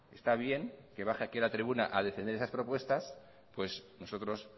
está bien que baje aquí a la tribuna a defender esas propuestas pues nosotros